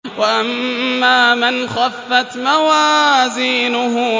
وَأَمَّا مَنْ خَفَّتْ مَوَازِينُهُ